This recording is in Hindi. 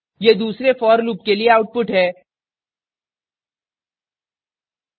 यह दूसरे for loop के लिए output है